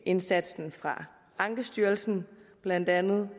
indsatsen fra ankestyrelsen blandt andet